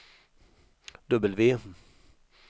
W